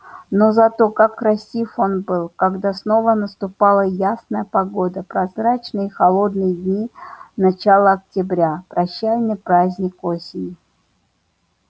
но зато как красив он был когда снова наступала ясная погода прозрачные и холодные дни начала октября прощальный праздник осени